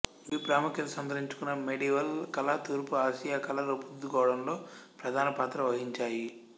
ఇవి ప్రాముఖ్యత సంతరించుకున్న మెడీవల్ కళ తూర్పు ఆసియా కళా రూపుదిద్దుకోవడంలో ప్రధానపాత్ర వహించాయి